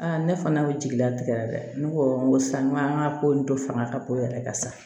ne fana bɛ jigi latigɛ la dɛ ne ko n ko sisan n ko an ka ko in dɔ fanga ka bon yɛrɛ de sa